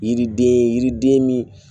Yiriden yiriden min